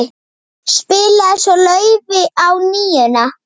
Spilaði svo laufi á NÍUNA.